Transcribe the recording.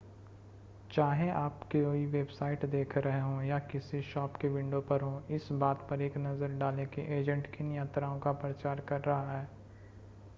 चाहे आप कोई वेबसाइट देख रहे हों या किसी शॉप की विंडो पर हों इस बात पर एक नज़र डालें कि एजेंट किन यात्राओं का प्रचार कर रहा है